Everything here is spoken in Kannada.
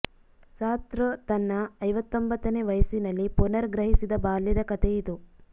ಸಾರ್ತ್ರ್ ತನ್ನ ಐವತೊಂಭತ್ತನೇ ವಯಸ್ಸಿನಲ್ಲಿ ಪುನರ್ ಗ್ರಹಿಸಿದ ಬಾಲ್ಯದ ಕತೆ ಇದು